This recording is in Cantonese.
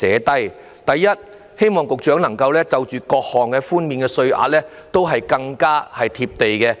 第一，希望局長推出的各項寬免稅額更"貼地"。